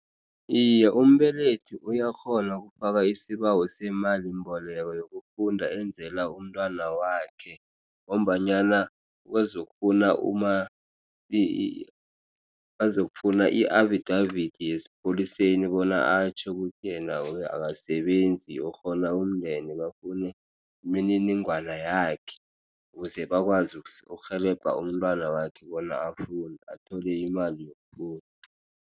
Iye umbelethi uyakghona ukufaka isibawo semalimboleko yokufunda enzela umntwana wakhe ngombanyana bazokufuna i-affidavit yesipholiseni bona atjho ukuthi yena akasebenzi urhola umndende bafune imininingwana yakhe. Ukuze bakwazi ukurhelebha umntwana wakhe bona afunde athole imali yokufunda.